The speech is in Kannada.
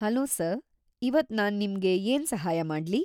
ಹಲೋ ಸರ್‌, ಇವತ್ತು ನಾನ್ ನಿಮ್ಗೆ ಏನ್ ಸಹಾಯ ಮಾಡ್ಲಿ?